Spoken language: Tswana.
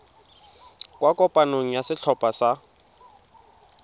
kwa kopanong ya setlhopha sa